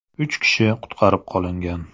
Uch kishi qutqarib qolingan.